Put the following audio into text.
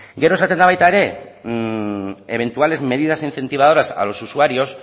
gero esaten da baita ere eventuales medidas incentivadoras a los usuarios